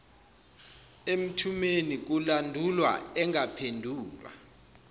emthumeni kulandulwa engaphendulwa